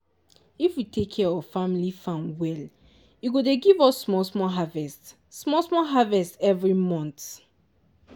if we take care of family farm well e go dey give us small-small harvest small-small harvest every month.